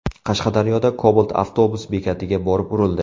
Qashqadaryoda Cobalt avtobus bekatiga borib urildi.